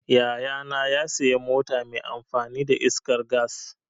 Yaya na ya sayi mota mai amfani da iskar gas.